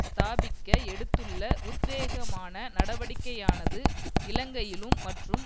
ஸ்தாபிக்க எடுத்துள்ள உத்வேகமான நடவடிக்கையானது இலங்கையிலும் மற்றும்